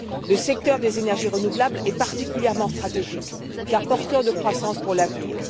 Le secteur des énergies renouvelables est particulièrement stratégique, car porteur de croissance pour l'avenir.